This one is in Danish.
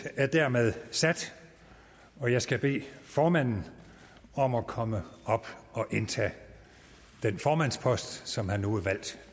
er hermed sat og jeg skal bede formanden om at komme op og indtage den formandspost som han nu er valgt